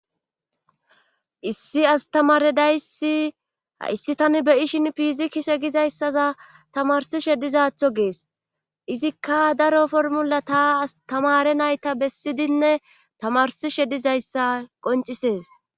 issi astamaredayssi issi tani beyishin pizikise gizayssaza tamarsishe dizatho gees izikka daro formula taa astamare nayta bessidinne tamarsishe dizayssa qoncisees